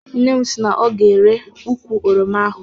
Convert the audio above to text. Nne m si na ọ ga-ere ukwụ oroma ahụ.